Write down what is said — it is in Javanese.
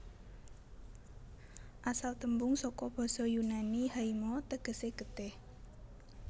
Asal tembung saka basa Yunani haima tegesé getih